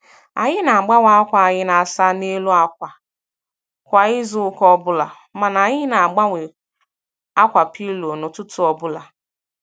Anyị na - agbanwe akwa anyị na asa n'elu akwa kwa izuụka ọbụla, mana anyị na - agbanwe akwa pillow n'ụtụtụ ọbụla.